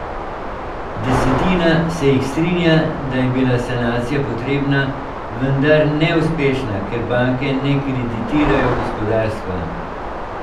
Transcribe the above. Desetina se jih strinja, da je bila sanacija potrebna, vendar neuspešna, ker banke ne kreditirajo gospodarstva.